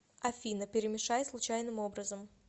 афина перемешай случайным образом